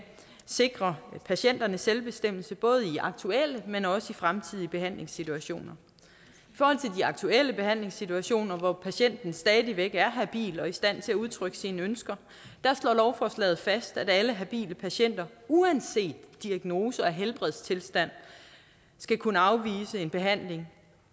sikrer patienternes selvbestemmelse både i aktuelle men også i fremtidige behandlingssituationer i aktuelle behandlingssituationer hvor patienten stadig væk er habil og i stand til at udtrykke sine ønsker slår lovforslaget fast at alle habile patienter uanset diagnose og helbredstilstand skal kunne afvise en behandling